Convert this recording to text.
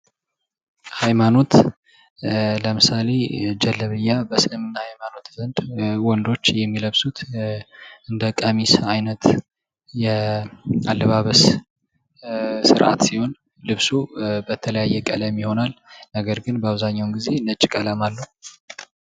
ሃይማኖት ።ለምሳሌ ጀለብያ በእስልምና ሃይማኖት ዘንድ ወንዶች የሚለብሱት እንደ ቀሚስ አይነት የአለባበስ ስርአት ሲሆን ልብሱ በተለያየ ቀለም ይሆናል። ነገር ግን በአብዛኛው ጊዜ ነጭ ቀለም አለው።